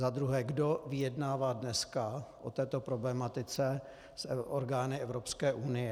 Za druhé, kdo vyjednává dneska o této problematice s orgány Evropské unie?